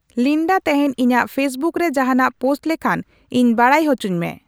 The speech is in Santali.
ᱞᱤᱱᱰᱟ ᱛᱮᱦᱮᱧ ᱤᱧᱟᱜ ᱯᱷᱮᱥᱵᱩᱠ ᱨᱮ ᱡᱟᱦᱟᱱᱟᱜ ᱯᱳᱥᱴ ᱞᱮᱠᱷᱟᱱ ᱤᱧ ᱵᱟᱰᱟᱭ ᱦᱚᱪᱚᱧ ᱢᱮ